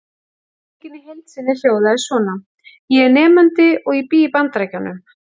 Spurningin í heild sinni hljóðaði svona: Ég er nemandi og ég bý í Bandaríkjum.